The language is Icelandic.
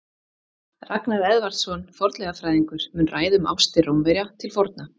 Ragnar Edvardsson, fornleifafræðingur, mun ræða um ástir Rómverja til forna.